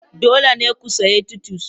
Dole ne ku sayi titus.